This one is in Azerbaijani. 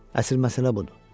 Əsl məsələ budur.